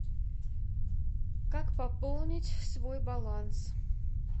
как пополнить свой баланс